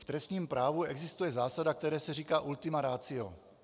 V trestním právu existuje zásada, které se říká ultima ratio.